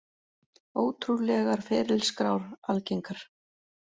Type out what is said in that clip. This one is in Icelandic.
Ótrúlegar ferilskrár algengar